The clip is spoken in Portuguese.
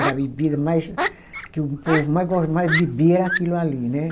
Era a bebida mais que o povo mais gos, mais bebia era aquilo ali, né?